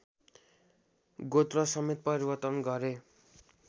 गोत्रसमेत परिवर्तन गरे